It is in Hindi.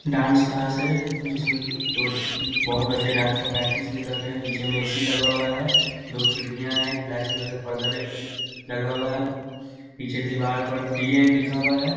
डांस क्लास है जिसमें दो ज बहुत बच्चे डांस का प्रैक्टिस भी कर रहे हैं पीछे में ए.सी. भी लगा हुआ है दो खिड़कियाँ हैं एक ब्लैक कलर का पर्दा डे ए लगा हुआ है पीछे दीवार पर डी.एन. लिखा हुआ है।